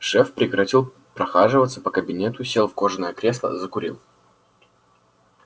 шеф прекратил прохаживаться по кабинету сел в кожаное кресло закурил